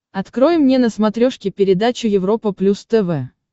открой мне на смотрешке передачу европа плюс тв